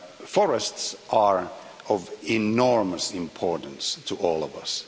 Forests are of enormous importance to all of us.